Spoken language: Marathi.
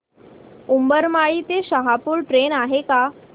उंबरमाळी ते शहापूर ट्रेन आहे का